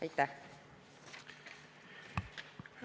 Aitäh!